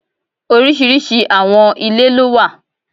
Oríṣiríṣi àwọn ilé lówà.